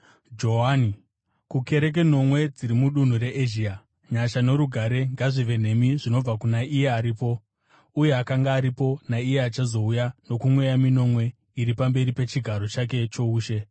Johani, kukereke nomwe dziri mudunhu reEzhia: Nyasha norugare ngazvive nemi zvinobva kuna iye aripo, uye akanga aripo, naiye achazouya, nokumweya minomwe iri pamberi pechigaro chake choushe,